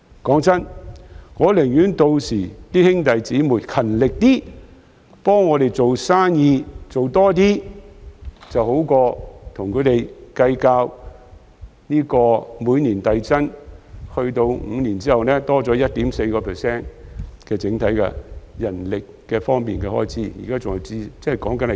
老實說，我寧可公司的兄弟姊妹們屆時勤力一些，替我們多掙點營業額，總好過與他們計較每年遞增 ，5 年後增加 1.4% 的整體人力開支，況且現時說的是前線的情況。